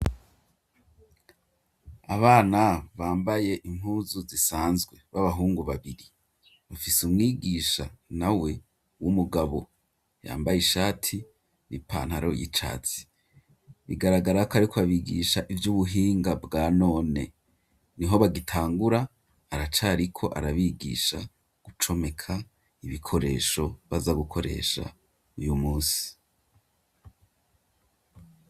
Abana bambaye impuzu zisanzwe b'abahungu babiri bafise umwigisha na we w'umugabo yambaye ishati n'ipantaro y'icatsi bigaragara ko ariko abigisha ivy'ubuhinga bwa none niho bagitangura aracari ko arabigisha gucomeka ibikoresho baza gukoresha uyu munsi.